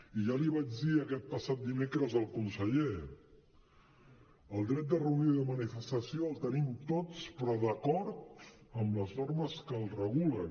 i ja li vaig dir aquest passat dimecres al conseller el dret de reunió i de manifestació el tenim tots però d’acord amb les normes que el regulen